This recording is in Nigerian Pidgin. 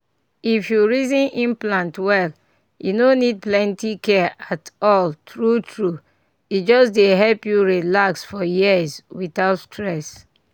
if you reason implant well e no need plenty care at all true true e just dey help you relax for years without stress.